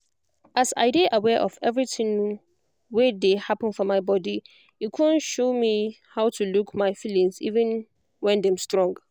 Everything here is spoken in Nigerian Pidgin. as i de aware of everything wen de happen for my body e don show me how to look my feelings even when dem strong